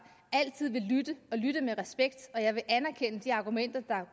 altid vil lytte med respekt og jeg vil anerkende de argumenter der